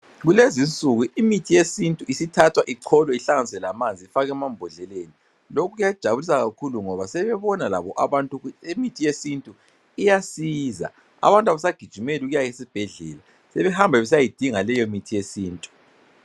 Kulezinsuku imithi yesintu isithathwa icholwe ihlanganiswe lamanzi ifakwe emambodleleni. Lokho kuyajabulisa kakhulu ngoba sebebona labo abantu ukuthi imithi yesintu iyasiza. Abantu abasagijimeli ukuya esibhedlela sebehamba besiyayidinga leyo mithi yesintu.